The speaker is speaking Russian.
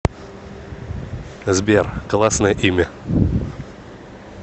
сбер классное имя